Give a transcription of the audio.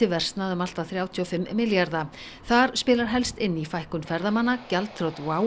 versnað um allt að þrjátíu og fimm milljarða þar spilar helst inn í fækkun ferðamanna gjaldþrot WOW